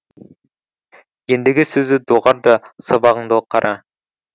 ендігі сөзді доғар да сабағыңды қара